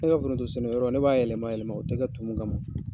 Ne ka foronto sɛnɛ yɔrɔ, ne b'a yɛlɛma yɛlɛma o tɛ kɛ tumu kama.